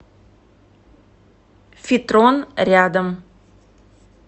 фитрон рядом